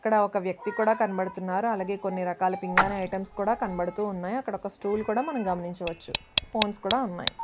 ఇక్కడ ఒక వ్యక్తి కూడా కనబడుతున్నారు అలాగే కొన్ని రకాల పింగాణి యితేమస్ కూడా కనబడుతున్నాయి అక్కడ ఒక స్టూల్ కూడా గమనించవచ్చు ఫోనెస్ కూడా ఉన్నాయి.